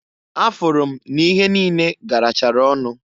Afụrụ m n'ihe niine garachara ọnụ.